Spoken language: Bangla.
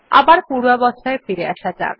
আবার পূর্বাবস্থায় ফিরে আসা যাক